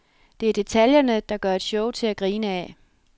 Det er detaljerne, der gør et show til at grine af.